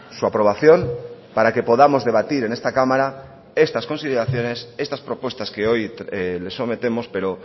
su aprobación para que podamos debatir en esta cámara estas consideraciones estas propuestas que hoy le sometemos pero